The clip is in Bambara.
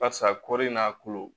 Barisa kɔri n'a kolo